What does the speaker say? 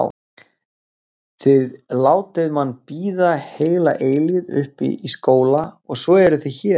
Þið látið mann bíða heila eilífð uppi í skóla og svo eruð þið hér!